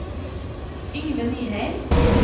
Yngve Nyheim